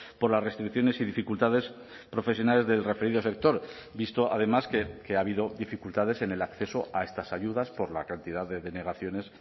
por las restricciones y dificultades profesionales del referido sector visto además que ha habido dificultades en el acceso a estas ayudas por la cantidad de denegaciones